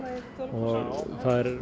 og